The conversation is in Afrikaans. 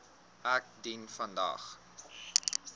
ek dien vandag